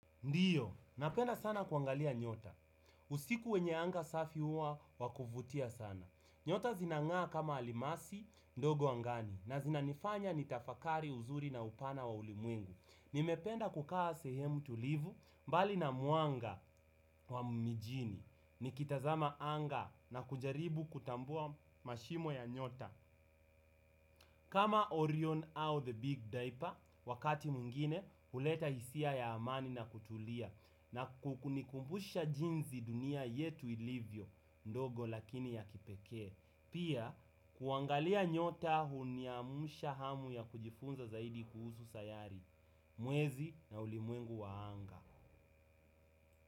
Ndiyo, napenda sana kuangalia nyota. Usiku wenye anga safi huwa wa kuvutia sana. Nyota zinang'aa kama alimasi, ndogo angani, na zinanifanya nitafakari uzuri na upana wa ulimuengu. Nimependa kukaa sehemu tulivu, mbali na mwanga wa mijini. Nikitazama anga na kujaribu kutambua mashimo ya nyota. Kama Orion au the big diaper, wakati mwingine, huleta hisia ya amani na kutulia. Na kunikumbusha jinsi dunia yetu ilivyo, ndogo lakini ya kipeke. Pia, kuangalia nyota huniamsha hamu ya kujifunza zaidi kuhusu sayari mwezi na ulimwengu wa anga.